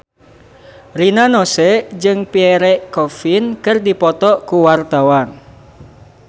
Rina Nose jeung Pierre Coffin keur dipoto ku wartawan